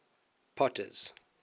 potter's